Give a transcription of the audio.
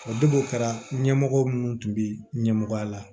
O de b'o kɛra ɲɛmɔgɔ minnu tun bɛ ɲɛmɔgɔya la